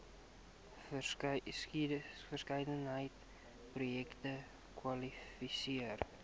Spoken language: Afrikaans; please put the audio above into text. verskeidenheid projekte kwalifiseer